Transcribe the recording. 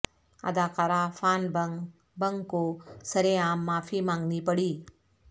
اداکارہ Fan Bingbing کو سرے عام معافی مانگنی پڑی